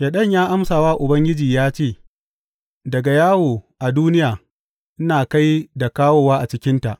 Shaiɗan ya amsa wa Ubangiji ya ce, Daga yawo a duniya ina kai da kawowa a cikinta.